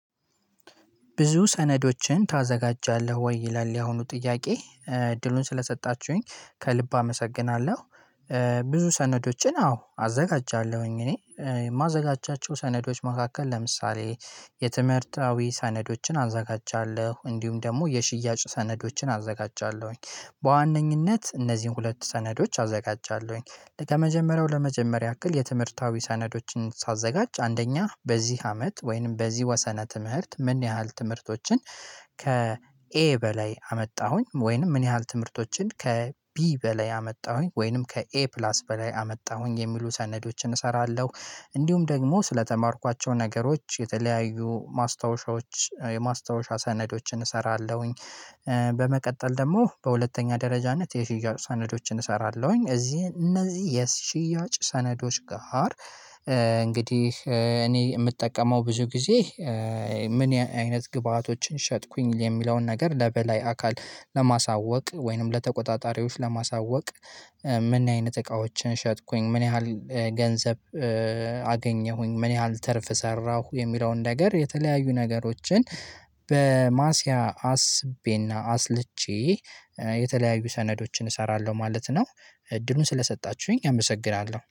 ብዙ ሰነዶችን ታዘጋጃለህ ወይ ይላል ያሁኑ ጥያቄ እድሉን ስለሰጣችሁኝ ከልብ አመሰግናለሁ። ብዙ ሰነዶችን አዎ አዘጋጃለሁኝ እኔ የማዘጋጃቸው ሰነዶች መካከል ለምሳሌ የትምህርታዊ ሰነዶችን አዘጋጃለሁ እንዲሁም ደግሞ የሽያጭ ሰነዶችን አዘጋጃለሁኝ በዋነኝነት እነዚህን ሁለት ሰነዶች አዘጋጃለሁኝ ከመጀመሪያው ለመጀመሪያ ያክል የትምህርታዊ ሰነዶችን ሳዘጋጅ አንደኛ በዚህ አመት ወይንም በዚህ ወሰነ ትምህርት ምን ያህል ትምህርቶችን? ከኤ በላይ አመጣሁኝ ወይንም ምን ያህል ትምህርቶችን ከቢ በላይ አመጣሁኝ ወይንም ከኤ ፕላስ በላይ አመጣሁኝ የሚሉ ሰነዶችን እሰራለሁ። እንዲሁም ደግሞ ስለተማርኳቸው ነገሮች የተለያዩ ማስታወሻዎች የማስታወሻ ሰነዶችን እሰራለሁኝ። በመቀጠል ደግሞ በሁለተኛ ደረጃነት የሽያጭ ሰነዶችን እሰራለሁኝ እዚህ እነዚህ የሽያጭ ሰነዶች ጋር። እንግዲህ እኔ የምጠቀመው ብዙ ጊዜ ምን አይነት ግብአቶችን ሸጥኩኝ የሚለውን ነገር ለበላይ አካል ለማሳወቅ ወይንም ለተቆጣጣሪዎች ለማሳወቅ? ምን አይነት እቃዎችን ሸጥኩኝ ምን ያህል ገንዘብ? አገኘሁኝ ምን ያህል ተርፍ ሰራሁ የሚለውን ነገር የተለያዩ ነገሮችን። በማሲያ አስቤና አስልቼ የተለያዩ ሰነዶችን እሰራለሁ ማለት ነው። እድሉን ስለሰጣችሁኝ አመሰግናለሁ